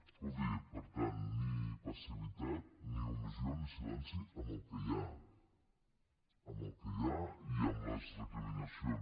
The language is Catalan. escolti per tant ni passivitat ni omissió ni silenci en el que hi ha en el que hi ha ni en les recriminacions